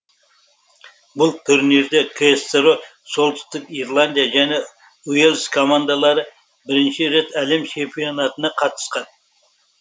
бұл турнирде ксро солтүстік ирландия және уэльс командалары бірінші рет әлем чемпионатына қатысқан